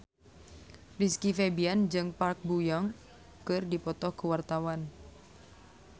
Rizky Febian jeung Park Bo Yung keur dipoto ku wartawan